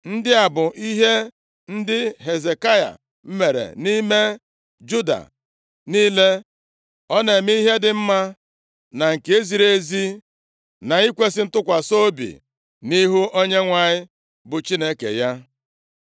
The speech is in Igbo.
Ndị a bụ ihe ndị Hezekaya mere nʼime Juda niile, ọ na-eme ihe dị mma, na nke ziri ezi, nʼikwesị ntụkwasị obi nʼihu Onyenwe anyị bụ Chineke ya.